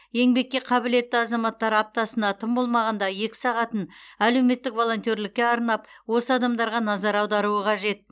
еңбекке қабілетті азаматтар аптасына тым болмағанда екі сағатын әлеуметтік волонтерлікке арнап осы адамдарға назар аударуы қажет